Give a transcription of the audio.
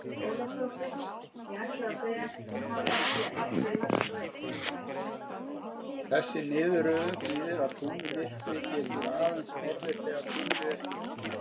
Þessi niðurröðun þýðir að tunglmyrkvi getur aðeins orðið þegar tunglið er fullt.